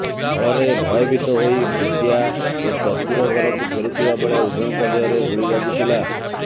ଫଳରେ ଭୟଭୀତ ହୋଇ ବିଦ୍ୟା ଓ ଚତୁର ଘରକୁ ଫେରୁଥିବା ବେଳେ ଉଭୟଙ୍କ ଦେହରେ ଗୁଳି ବାଜିଥିଲା